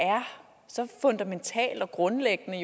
er så fundamentalt og grundlæggende